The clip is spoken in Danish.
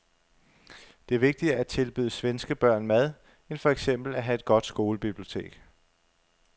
Det er vigtigere at tilbyde svenske børn mad end for eksempel at have et godt skolebibliotek.